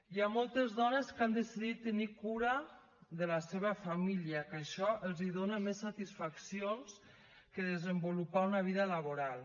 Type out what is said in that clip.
hi ha moltes dones que han decidit tenir cura de la seva família que això els dona més satisfaccions que desenvolupar una vida laboral